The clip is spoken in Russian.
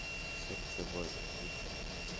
сердце воина включай